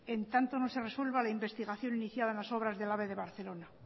en tanto no se resuelva la investigación iniciada en las obras del ave de barcelona